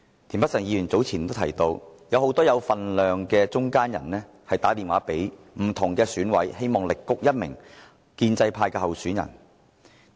田北辰議員早前提到，有很多有分量的中間人致電不同的選舉委員會委員，力谷一名建制派的候選人。